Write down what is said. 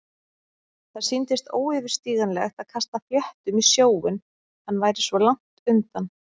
Það sýndist óyfirstíganlegt að kasta fléttum í sjóinn- hann væri svo langt undan.